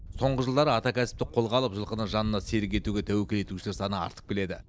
соңғы жылдары ата кәсіпті қолға алып жылқыны жанына серік етуге тәуекел етушілер саны артып келеді